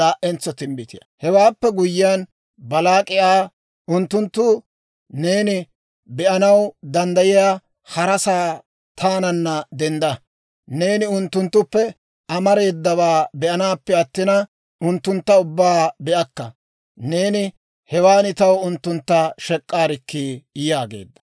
Hewaappe guyyiyaan, Baalaak'i Aa, «Unttunttu neeni be'anaw danddayiyaa harasaa taananna dendda. Neeni unttunttuppe amareedawaa be'anaappe attina, unttuntta ubbaa be'akka. Neeni hewan taw unttuntta shek'k'aarikkii» yaageedda.